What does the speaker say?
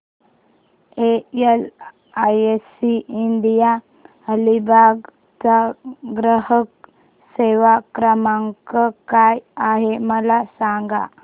LIC India Alibag चा ग्राहक सेवा क्रमांक काय आहे मला सांगा